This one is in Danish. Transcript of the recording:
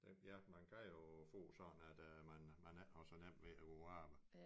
Ja man kan jo få sådan at øh man man ikke har så nemt ved at kunne arbejde